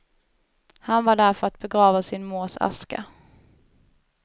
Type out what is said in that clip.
Han var där för att begrava sin mors aska.